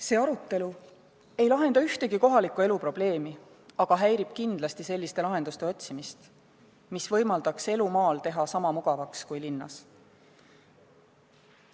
See arutelu ei lahenda ühtegi kohaliku elu probleemi, vaid häirib selliste lahenduste otsimist, mis võimaldaksid muuta elu maal sama mugavaks kui linnas.